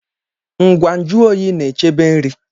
Ngwa nju oyi na-echebe nri